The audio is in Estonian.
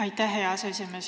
Aitäh, hea esimees!